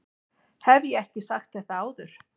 Hef ég ekki sagt þetta áður?